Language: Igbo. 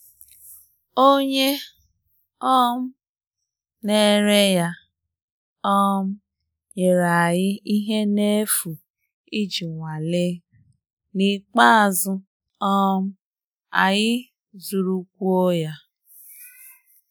Onye um na-ere ya um nyere anyị ihe n’efu iji nwalee, n’ikpeazụ um anyị zụrụkwuo ya.